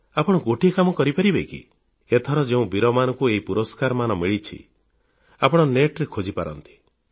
ଆପଣ ଗୋଟିଏ କାମ କରିପାରିବେ କି ଏଥର ଯେଉଁ ବୀରମାନଙ୍କୁ ଏହି ପୁରସ୍କାରମାନ ମିଳିଛି ଆପଣ ନେଟInternetରେ ଖୋଜିପାରନ୍ତି